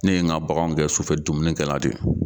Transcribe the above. Ne ye n ka baganw gɛn sufɛ dumunikɛla de